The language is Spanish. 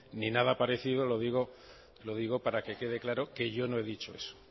ni nada parecido lo digo para que quede claro que yo no he dicho eso